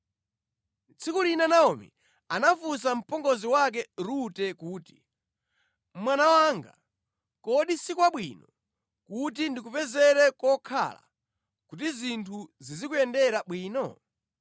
Tsiku lina Naomi anafunsa mpongozi wake Rute kuti, “Mwana wanga, kodi si kwabwino kuti ndikupezere kokhala kuti zinthu zizikuyendera bwino?